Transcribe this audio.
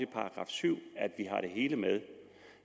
§ syv